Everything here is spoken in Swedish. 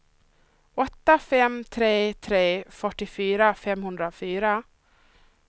åtta fem tre tre fyrtiofyra femhundrafyra